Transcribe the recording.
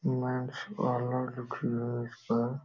Mains parlour लिखी है इस पर।